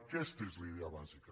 aquesta és la idea bàsica